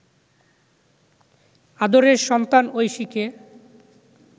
'আদরের সন্তান ঐশীকে